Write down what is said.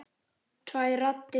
Tvær raddir.